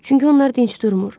Çünki onlar dinc durmur.